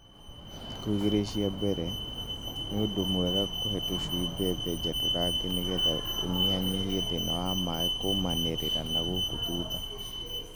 Thikũ-inĩ igĩrĩ cia mbere, nĩ ũndũ mwega kũhe tũcui mbembe njatũrange nĩgetha ũnyihanyihie thĩna wa mai kũmanĩrĩra na gũkũ thutha.